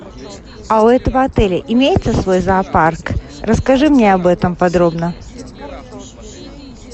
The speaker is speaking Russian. а у этого отеля имеется свой зоопарк расскажи мне об этом подробно